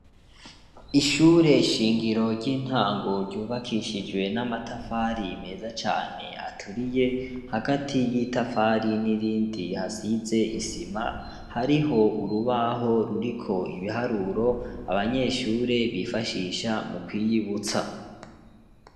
Ishure shingiro ry'intango ryubakishijwe n'amatafari meza cane aturiye hagati y'itafari n'irindi hasize isima hariho urubaho ruriko ibiharuro abanyeshure bifashisha mukwiyibutsa